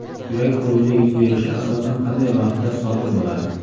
Yurak xuruji yuz berishi asosan qanday vaqtda sodir bo‘ladi?